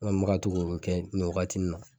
An bɛ ka to k'o kɛ nin wagati in na.